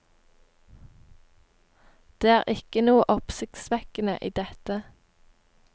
Det er ikke noe oppsiktsvekkende i dette.